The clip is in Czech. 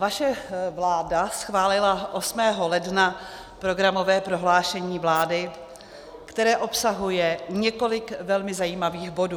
Vaše vláda schválila 8. ledna programové prohlášení vlády, které obsahuje několik velmi zajímavých bodů.